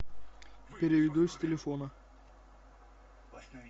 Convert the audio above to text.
переведу с телефона